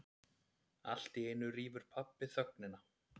Alltíeinu rýfur pabbi þögnina.